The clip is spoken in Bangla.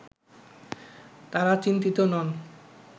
তারা চিন্তিত নন